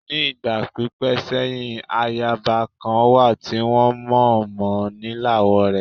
Ní ìgbà pípẹ́ sẹ́yìn, ayaba kan wà tí wọ́n mọ̀ mọ lílawọ́ rẹ̀.